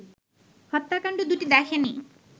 হত্যাকাণ্ড দুটি দেখেনি